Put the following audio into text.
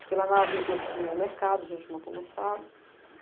Porque lá na avícola a gente tinha o mercado, a gente montou o mercado.